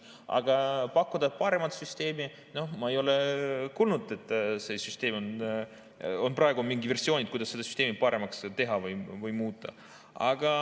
Aga pakkuda paremat süsteemi – noh, ma ei ole kuulnud, et on praegu mingid versioonid, kuidas seda süsteemi paremaks teha või muuta.